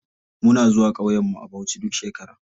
Muna zuwa ƙauyen mu a bauchi duk shekara.